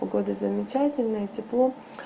погода замечательная тепло